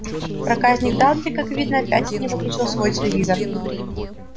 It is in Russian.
проказник дадли как видно опять не выключил свой телевизор